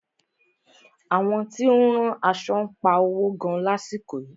Àwọn tí ó ń rán aṣo ń pa owo gan lásìkò yìí.